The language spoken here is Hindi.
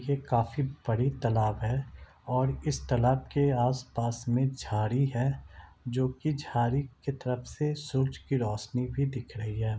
ये काफी बड़ी तालाब है और इस तालाब के आसपास में झाड़ी है जो की झाड़ी की तरफ से सूरज की रोशनी भी दिख रही है।